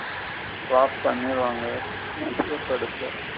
Flop பன்னிருவாங்க எடுத்து.